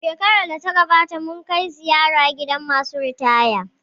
Shekarar da ta gabata mun kai ziyara gidan masu ritaya